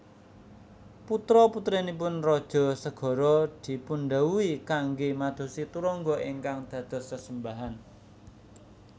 Putra putranipun Raja Sagara dipundhawuhi kanggé madosi turangga ingkang dados sesembahan